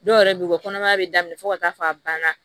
Dɔw yɛrɛ bɛ yen u bɛ kɔnɔmaya bɛ daminɛ fo ka taa fɔ a banna